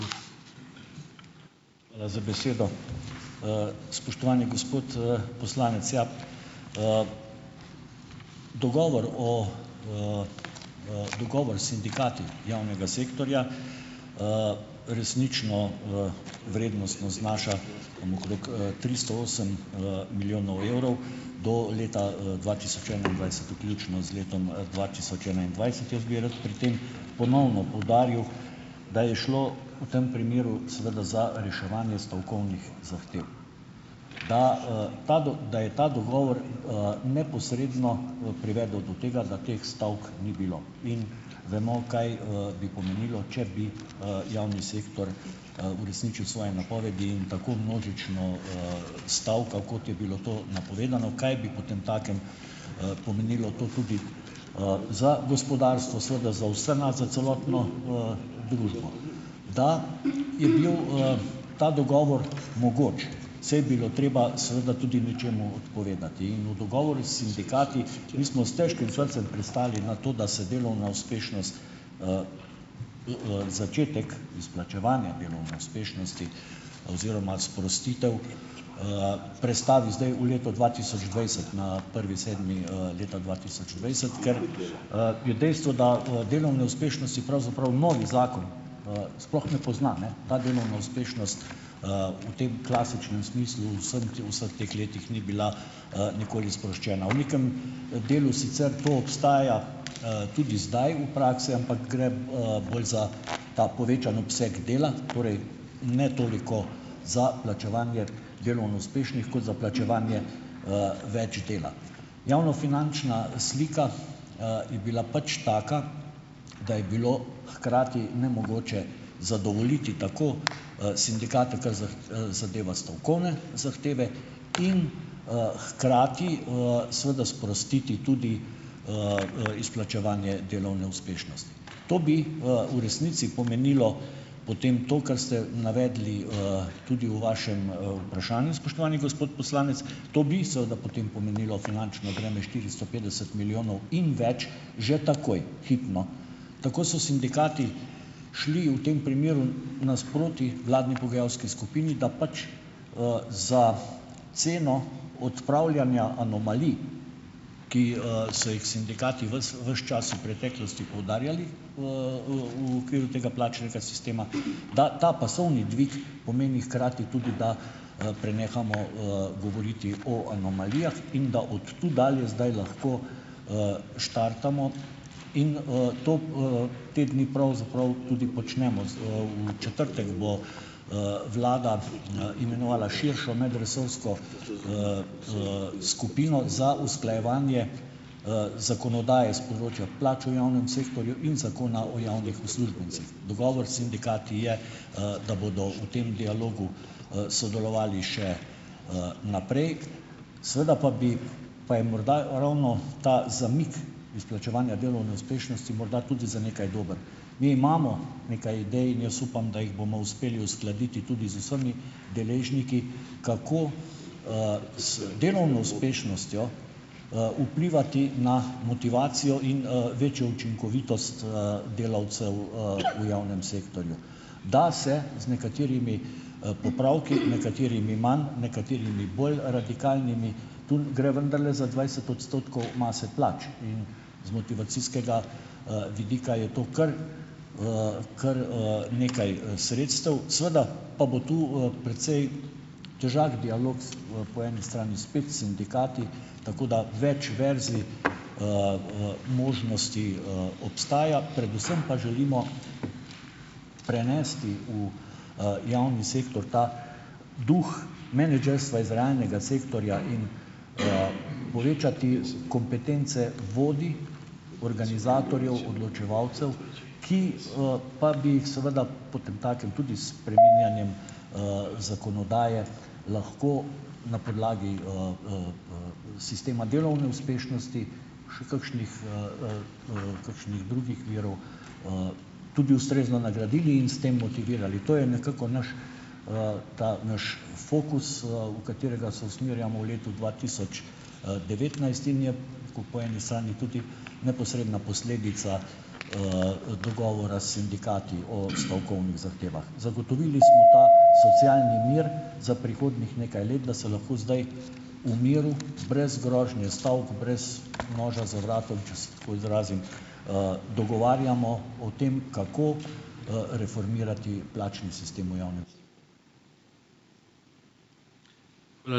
Hvala za besedo. Spoštovani gospod, poslanec, ja! Dogovor o, dogovor s sindikati javnega sektorja, resnično, vrednostno znaša tam okrog, tristo osem, milijonov evrov do leta, dva tisoč enaindvajset vključno z letom, dva tisoč enaindvajset. Jaz bi rad pri tem ponovno poudaril, da je šlo v tem primeru, seveda, za reševanje stavkovnih zahtev. Da, ta da je ta dogovor, neposredno, privedel do tega, da teh stavk ni bilo. In vemo kaj, bi pomenilo, če bi, javni sektor, uresničil svoje napovedi in tako množično, stavkal, kot je bilo to napovedano, kaj bi potemtakem, pomenilo to tudi, za gospodarstvo, seveda za vse nas, za celotno, družbo. Da je bil, ta dogovor mogoč, se je bilo treba, seveda, tudi nečemu odpovedati. In v dogovoru s sindikati, mi smo s težkim srcem pristali na to, da se delovna uspešnost, začetek izplačevanja delovne uspešnosti oziroma sprostitev, prestavi zdaj v leto dva tisoč dvajset na prvi sedmi, leta dva tisoč dvajset, ker, je dejstvo, da, delovne uspešnost si pravzaprav novi zakon, sploh ne pozna ne. Ta delovna uspešnost, v tem klasičnem smislu v vsem vseh teh letih ni bila, nikoli sproščena. V nekem, delu sicer to obstaja, tudi zdaj v praksi, ampak gre, bolj za ta povečan obseg dela, torej ne toliko za plačevanje delovno uspešnih kot za plačevanje, več dela. Javnofinančna slika, je bila pač taka, da je bilo hkrati nemogoče zadovoljiti tako, sindikate, kar zadeva stavkovne zahteve, in, hkrati, seveda sprostiti tudi, izplačevanje delovne uspešnosti. To bi, v resnici pomenilo potem to, kar ste navedli, tudi v vašem, vprašanju, spoštovani gospod poslanec, to bi seveda potem pomenilo finančno breme štiristo petdeset milijonov in več že takoj hipno. Tako so sindikati šli v tem primeru nasproti vladni pogajalski skupini, da pač, za ceno odpravljanja anomalij, ki, so jih sindikati ves ves čas v preteklosti poudarjali, v okviru tega plačnega sistema, da ta pasovni dvig pomeni hkrati tudi, da, prenehamo, govoriti o anomalijah in da od tu dalje zdaj lahko, štartamo. In, to, te dni pravzaprav tudi počnemo, z, v četrtek bo, vlada, imenovala širšo medresorsko, skupino za usklajevanje, zakonodaje s področja plač v javnem sektorju in zakona o javnih uslužbencih. Dogovor s sindikati je, da bodo v tem dialogu, sodelovali še, naprej. Seveda pa bi pa je morda ravno ta zamik izplačevanja delovne uspešnosti morda tudi za nekaj dober. Mi imamo nekaj idej. In jaz upam, da jih bomo uspeli uskladiti tudi z vsemi deležniki, kako, z delovno uspešnostjo, vplivati na motivacijo in, večjo učinkovitost, delavcev, v javnem sektorju. Da se z nekaterimi, popravki, nekaterimi manj, nekaterimi bolj radikalnimi. Tu gre vendarle za dvajset odstotkov mase plač. In z motivacijskega, vidika je to kar, kar, nekaj, sredstev. Seveda pa bo tu, precej težak dialog s, po eni strani spet s sindikati. Tako da več verzij, možnosti, obstaja, predvsem pa želimo prenesti v, javni sektor ta duh menedžerstva iz realnega sektorja in, povečati kompetence vodij organizatorjev, odločevalcev, ki, pa bi seveda potemtakem tudi s spreminjanjem, zakonodaje lahko na podlagi, sistema delovne uspešnosti še kakšnih, kakšnih drugih virov, tudi ustrezno nagradili in s tem motivirali. To je nekako naš, ta naš fokus, v katerega se usmerjamo v letu dva tisoč, devetnajst, in je tako po eni strani tudi neposredna posledica, dogovora s sindikati o stavkovnih zahtevah. Zagotovili smo ta socialni mir za prihodnjih nekaj let, da se lahko zdaj v miru brez grožnje stavk, brez noža za vratom, če se tako izrazim, dogovarjamo o tem, kako, reformirati plačni sistem v javnem.